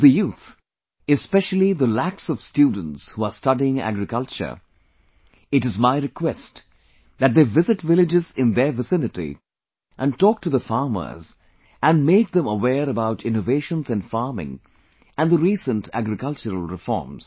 To the youth, especially the lakhs of students who are studying agriculture, it is my request that they visit villages in their vicinity and talk to the farmers and make them aware about innovations in farming and the recent agricultural reforms